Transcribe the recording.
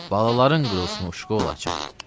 Balaların qırılsın Uşkola açan.